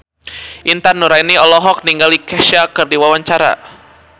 Intan Nuraini olohok ningali Kesha keur diwawancara